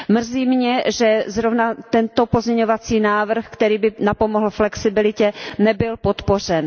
Mrzí mě, že zrovna tento pozměňovací návrh, který by napomohl flexibilitě, nebyl podpořen.